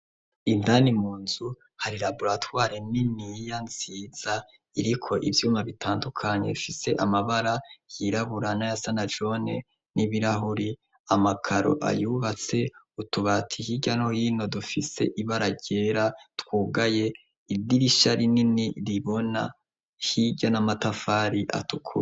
Indani mu nzu hari raburatware niniya nsiza iriko ivyuma bitandukanye fise amabara yiraburana ya sanajone n'ibirahuri amakaro ayubatse utubata ikirya no hino dufise ibararyera twugaye idirisha rinini ribona hirya na matafari atukua.